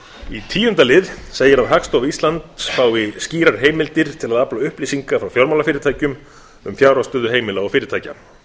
í tíunda lið segir að hagstofa íslands fái skýrar heimildir til að afla upplýsinga frá fjármálafyrirtækjum um fjárhagsstöðu heimila og fyrirtækja